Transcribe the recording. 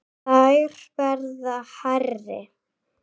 Þær verða hærri.